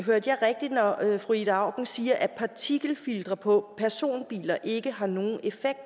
hørte jeg rigtigt når jeg hørte fru ida auken sige at partikelfiltre på personbiler ikke har nogen effekt